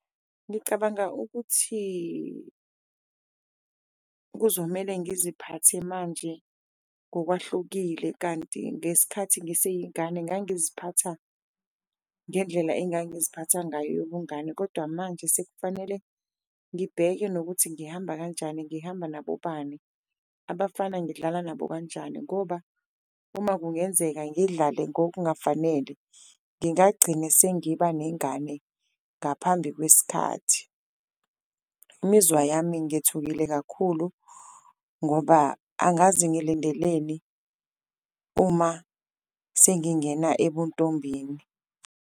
Ngicabanga ukuthi kuzomele ngiziphathe manje ngokwahlukile kanti ngesikhathi ngiseyingane ngangiziphatha ngendlela engangiziphatha ngayo yobungane. Kodwa manje sekufanele ngibheke nokuthi ngihamba kanjani, ngihamba nabobani, abafana ngidlala nabo kanjani ngoba uma kungenzeka ngidlale ngokungafanele ngingagcina sengiba nengane ngaphambi kwesikhathi. Imizwa yami ngethukile kakhulu ngoba angazi ngilindeleni uma sengingena ebuntombini.